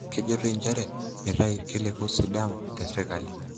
Kejoitoi njere meitayu kiliku sidam te serkali.